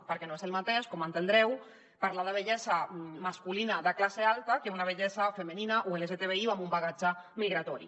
perquè no és el mateix com deveu entendre parlar de vellesa masculina de classe alta que una vellesa femenina o lgtbi o amb un bagatge migratori